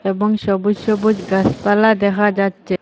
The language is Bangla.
এবং সবুজ সবুজ গাসপালা দেখা যাচ্ছে।